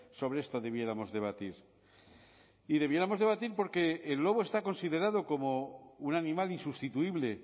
sobre esto debiéramos debatir y debiéramos debatir porque el lobo está considerado como un animal insustituible